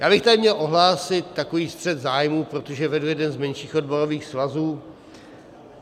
Já bych tady měl ohlásit takový střet zájmů, protože vedu jeden z menších odborových svazů.